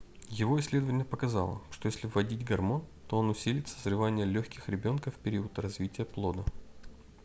его исследование показало что если вводить гормон то он усилит созревание легких ребёнка в период развития плода